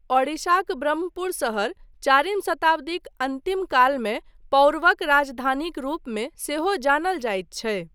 ओडिशाक ब्रह्मपुर शहर चारिम शताब्दीक अन्तिम कालमे पौरवक राजधानीक रूपमे सेहो जानल जाइत छै।